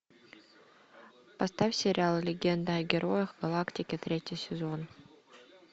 поставь сериал легенда о героях галактики третий сезон